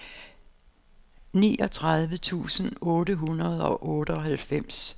niogtredive tusind otte hundrede og otteoghalvfems